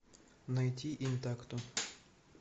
найти интакто